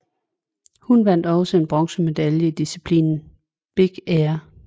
Hun vandt også en bronzemedalje i disciplinen big air